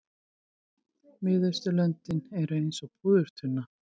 Miðausturlöndin eru eins og púðurtunna.